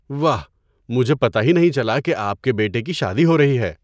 واہ! مجھے پتہ ہی نہیں چلا کہ آپ کے بیٹے کی شادی ہو رہی ہے!